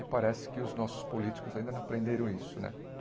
E parece que os nossos políticos ainda não aprenderam isso, né?